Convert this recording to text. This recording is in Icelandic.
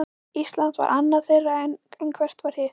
Ísland var annað þeirra, en hvert var hitt?